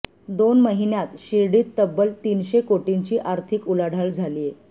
दोन महिन्यांत शिर्डीत तब्बल तीनशे कोटींची आर्थिक उलाढाल झालीय